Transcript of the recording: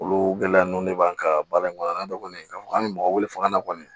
Olu gɛlɛya nun ne b'an ka baara in kɔnɔna na kɔni ka fɔ an bi mɔgɔ wele fanga na kɔni